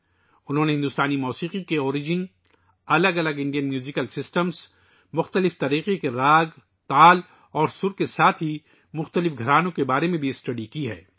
انہوں نے بھارتی موسیقی کی ابتداء، مختلف بھارتی موسیقی کے نظاموں، مختلف قسم کے راگوں، تالوں اور راسوں کے ساتھ ساتھ مختلف گھرانوں کے بارے میں بھی مطالعہ کیا ہے